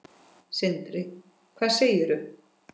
Sindri: Hvað segirðu?